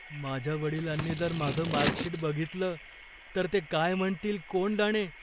माझ्या वडिलांनी जर माझं मार्क शीट बघितलं तर ते काय म्हणतील कोण जाणे.